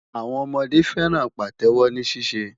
Àwọn ọmọdé fẹ́ràn Pàtẹ́wọ́ ní ṣíṣe.